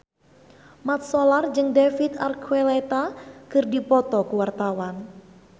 Mat Solar jeung David Archuletta keur dipoto ku wartawan